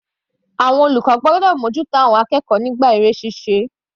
Àwọn olùkọ́ gbọ́dọ̀ mú ojú tó àwọn akẹ́kọ̀ọ́ nígbà eré ṣíṣe.